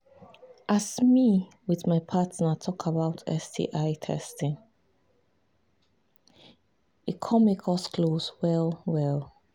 as me with my partner talk about sti testing e come make us close well well